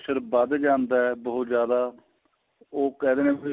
ਵੱਧ ਜਾਂਦਾ ਏ ਬਹੁਤ ਜਿਆਦਾ ਉਹ ਕਿਹ ਦਿੰਨੇ ਅ ਫੇਰ